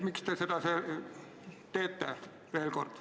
Miks te seda teete?